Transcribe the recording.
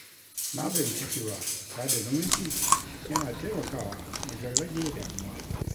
Na fahimci cewa sada zumunci yana taimakawa wajen rage damuwa